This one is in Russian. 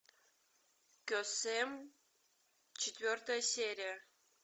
кесем четвертая серия